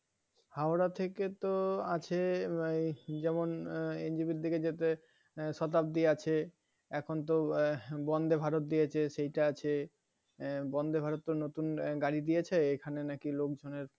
Howrah থেকে তো আছে এর যেমন NJP এর দিকে যেতে Shatabdi আছে এখন তো Vande, Bharat দিয়েছে সেইটা আছে আহ Vande, Bharat তো নতুন গাড়ি দিয়েছে এখানে নাকি লোকজনের